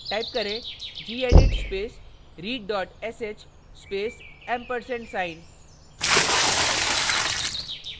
type करें gedit space read sh space & ampersand sign